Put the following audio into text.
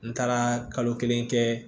N taara kalo kelen kɛ